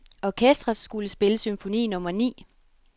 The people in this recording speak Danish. Orkestret skulle spille symfoni nummer ni.